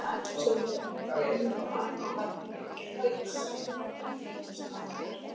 Sindri: En innan fjármálageirans, einhverjar sameiningar?